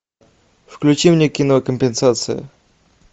включи мне кино компенсация